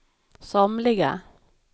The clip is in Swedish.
somliga